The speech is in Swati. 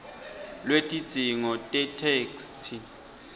lwetidzingo tetheksthi